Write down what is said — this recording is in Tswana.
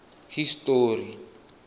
history